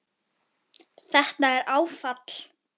Þetta er áfall.